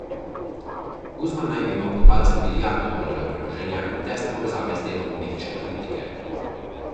Guzman naj bi imel pod palcem milijardo dolarjev premoženja in tesne povezave z delom mehiške politike.